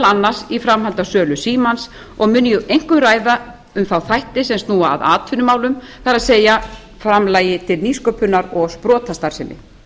annars í framhaldi af sölu símans og mun ég einkum ræða um þá þætti sem snúa að atvinnumálum það er framlagi til nýsköpunar og sprotastarfsemi